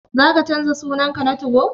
Za ka canza sunan ka na 2go?